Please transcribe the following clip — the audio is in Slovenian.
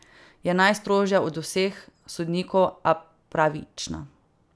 Je najstrožja od vseh sodnikov, a pravična.